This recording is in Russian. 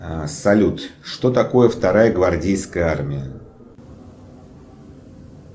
салют что такое вторая гвардейская армия